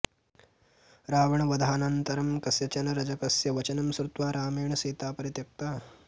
रावणवधानन्तरं कस्यचन रजकस्य वचनं श्रुत्वा रामेण सीता परित्यक्ता